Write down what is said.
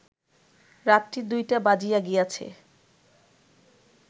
রাত্রি ২টা বাজিয়া গিয়াছে